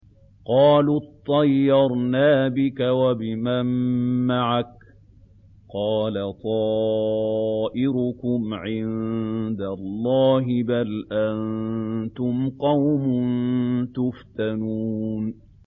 قَالُوا اطَّيَّرْنَا بِكَ وَبِمَن مَّعَكَ ۚ قَالَ طَائِرُكُمْ عِندَ اللَّهِ ۖ بَلْ أَنتُمْ قَوْمٌ تُفْتَنُونَ